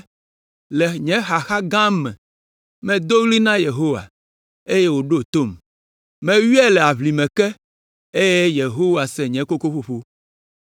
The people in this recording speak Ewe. “Le nye xaxa gã me, medo ɣli na Yehowa, eye wòɖo tom. Meyɔe le aʋlime ke, eye Yehowa se nye kokoƒoƒo!